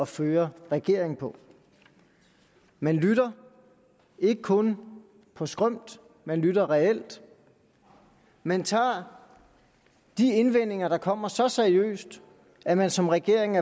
føre regering på man lytter ikke kun på skrømt man lytter reelt man tager de indvendinger der kommer så seriøst at man som regering